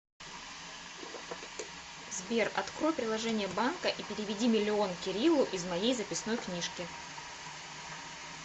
сбер открой приложение банка и переведи миллион кириллу из моей записной книжке